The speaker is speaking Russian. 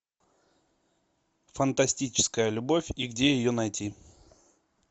фантастическая любовь и где ее найти